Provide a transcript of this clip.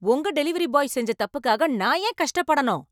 உங்க delivery boy செஞ்ச தப்புக்காக நான் ஏன் கஷ்டப்படணும்?